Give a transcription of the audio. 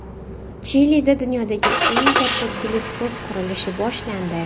Chilida dunyodagi eng katta teleskop qurilishi boshlandi.